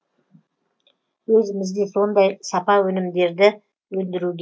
өзіміз де сондай сапа өнімдерді өндіруге